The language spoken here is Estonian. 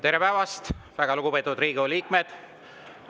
Tere päevast, väga lugupeetud Riigikogu liikmed!